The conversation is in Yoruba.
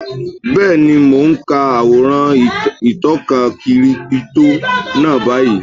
Bẹ́ẹ̀ni, mo n ka àwòrán ìtọka kírípítò náà báyìí